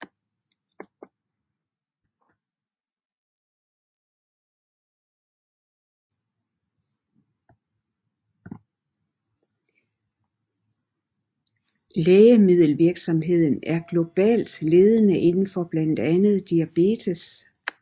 Lægemiddelvirksomheden er globalt ledende inden for blandt andet diabetes